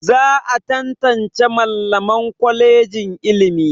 Za a tantance Mallaman kwalejin ilimi.